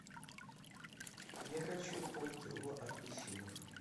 я хочу полкило апельсинов